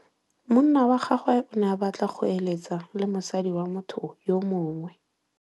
Monna wa gagwe o ne a batla go êlêtsa le mosadi wa motho yo mongwe.